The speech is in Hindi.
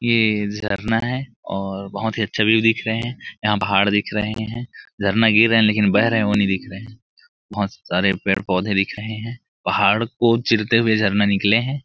यह झरना है और बहुत ही अच्छा व्यू दिख रहे है यहाँ पहाड़ दिख रहे हैं झरना गिर रहे है लेकिन बेह रहे वो नहीं दिख रहे बहुत सारे पेड़-पोधे दिख रहे है पहाड़ को चीरते हुए झरना निकले है।